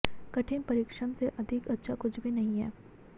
कठिन परिश्रम से अधिक अच्छा कुछ भी नहीं हैं